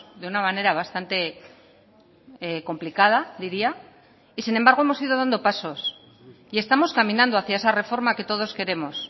de una manera bastante complicada diría y sin embargo hemos ido dando pasos y estamos caminando hacia esa reforma que todos queremos